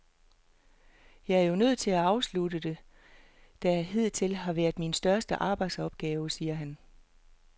Jeg er jo nødt til at afslutte det, der hidtil har været min største arbejdsopgave, siger han.